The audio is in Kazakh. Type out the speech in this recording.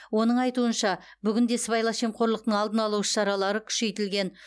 оның айтуынша бүгінде сыбайлас жемқорлықтың алдын алу іс шаралары күшейтілген